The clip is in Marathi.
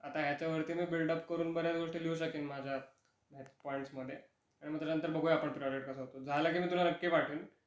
आता, आता ह्याच्या वरती मी बिल्डअप करून बऱ्याच गोष्टी लिहू शकीन माझ्या पॉईंट्समध्ये आणि मग त्याच्या नंतर बघूया आपण प्रोजेक्ट कसा होतो. झाल की मी तुला नक्की पाठविन.